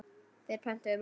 Þeir pöntuðu mat.